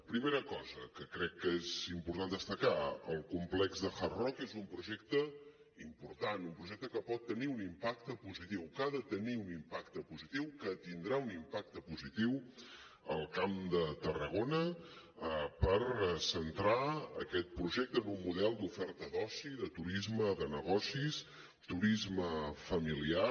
primera cosa que crec que és important destacar el complex de hard rock és un projecte important un projecte que pot tenir un impacte positiu que ha de tenir un impacte positiu que tindrà un impacte positiu al camp de tarragona per centrar aquest projecte en un model d’oferta d’oci de turisme de negocis turisme familiar